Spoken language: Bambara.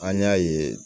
An y'a ye